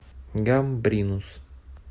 гамбринус